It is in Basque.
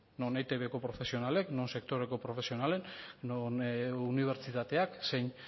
non eitbko profesionalek non sektoreko profesionalek non unibertsitateak zein